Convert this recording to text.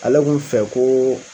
Ale k'u fɛ ko.